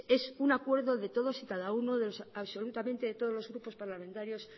es un acuerdo de todos y cada uno de los absolutamente todos los grupos parlamentarios